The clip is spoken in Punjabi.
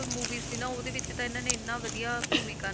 Movie ਸੀ ਨਾ ਉਹਦੇ ਵਿੱਚ ਤਾਂ ਇਹਨਾਂ ਨੇ ਇੰਨਾ ਵਧੀਆ ਭੂਮਿਕਾ,